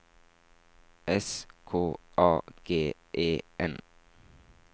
S K A G E N